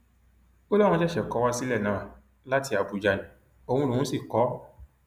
ó láwọn ṣẹṣẹ kọ wá sílẹ náà láti àbújá ní òun lòún sì kọ ọ